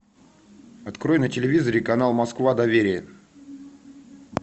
открой на телевизоре канал москва доверие